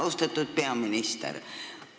Austatud peaminister!